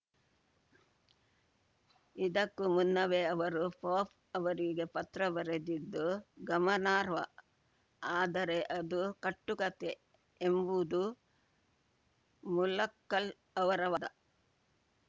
ಇದಕ್ಕೂ ಮುನ್ನವೇ ಅವರು ಪೋಪ್‌ ಅವರಿಗೆ ಪತ್ರ ಬರೆದಿದ್ದು ಗಮನಾರ್ಹ ಆದರೆ ಇದು ಕಟ್ಟುಕತೆ ಎಂಬುದು ಮುಲಕ್ಕಲ್‌ ಅವರ ವಾದ